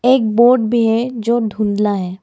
एक बोर्ड भी है जो धुंधला है।